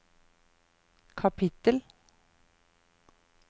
kapittel